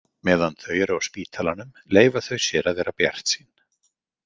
Meðan þau eru á spítalanum leyfa þau sér að vera bjartsýn.